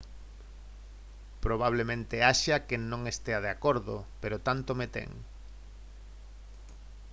«probablemente haxa quen non estea de acordo pero tanto me ten